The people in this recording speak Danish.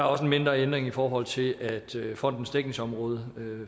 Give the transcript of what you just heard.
også en mindre ændring i forhold til at fondens dækningsområde